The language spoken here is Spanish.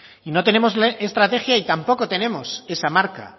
y no tenemos la estrategia y tampoco tenemos esa marca